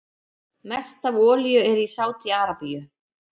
Mest af olíu er í Sádi-Arabíu.